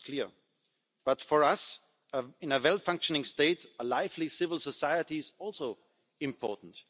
That's clear but, for us, in a properly functioning state a lively civil society is also important.